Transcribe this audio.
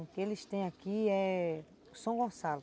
O que eles têm aqui é São Gonçalo.